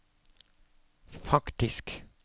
faktisk